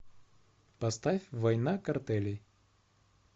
поставь война картелей